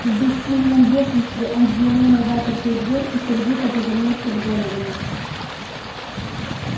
в бессильном бешенстве он взглянул на запертую дверь и сердито повернулся к доновану